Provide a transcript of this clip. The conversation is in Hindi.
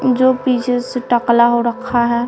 जो पीछे से टकला हो रखा है।